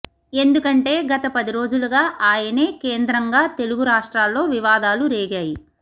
ఎందుకంటే గత పదిరోజులుగా ఆయనే కేంద్రంగా తెలుగు రాష్ట్రాల్లో వివాదాలు రేగాయి